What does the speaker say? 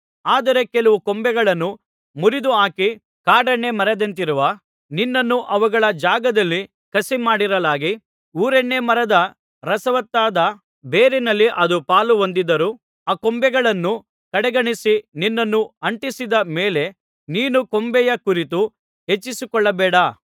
ಆದರೆ ಕೆಲವು ಕೊಂಬೆಗಳನ್ನು ಮುರಿದುಹಾಕಿ ಕಾಡೆಣ್ಣೆ ಮರದಂತಿರುವ ನಿನ್ನನ್ನು ಅವುಗಳ ಜಾಗದಲ್ಲಿ ಕಸಿಮಾಡಿರಲಾಗಿ ಊರೆಣ್ಣೇಮರದ ರಸವತ್ತಾದ ಬೇರಿನಲ್ಲಿ ಅದು ಪಾಲುಹೊಂದಿದ್ದರೂ ಆ ಕೊಂಬೆಗಳನ್ನು ಕಡೆಗಣಿಸಿ ನಿನ್ನನ್ನು ಅಂಟಿಸಿದ ಮೇಲೆ ನೀನು ಕೊಂಬೆಯ ಕುರಿತು ಹೆಚ್ಚಿಸಿಕೊಳ್ಳಬೇಡ